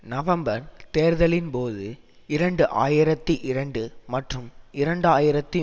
November தேர்தலின் போது இரண்டு ஆயிரத்தி இரண்டு மற்றும் இரண்டு ஆயிரத்தி